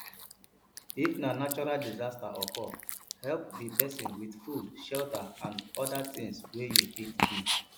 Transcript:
if na natural disaster occur help di persin with food shelter and oda things wey you fit give